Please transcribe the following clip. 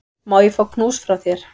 Má ég fá knús frá þér?